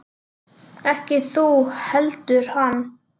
Ekki þú heldur hann.